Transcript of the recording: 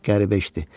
Qəribə eşitdi.